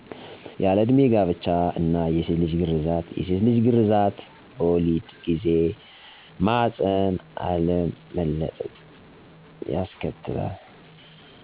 ያለእድሜ ጋብቻ እና የሴትልጅ ግረዛት የሴትልጅ ግረዛት በወሊድ ጊዜ ማህፀን አለመለጥ